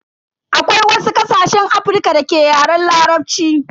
Akwai wasu ƙasashen Afrika da ke Yaren Larabci.